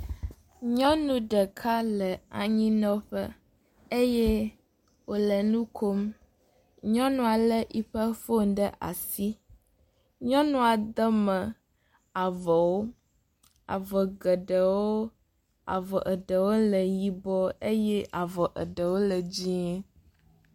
Nyɔnu ɖeka le anyinɔƒe eye wòle nu kom. Nyɔnua léeƒe fon ɖe asi, nyɔnua de me avɔwo, avɔ geɖewo, avɔa ɖewo le yibɔ eye eɖewo le dzɛ̃.